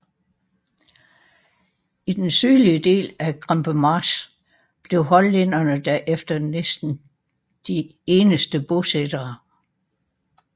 I den sydlige del af Krempermarsch blev hollænderne der efter næsten de eneste bosættere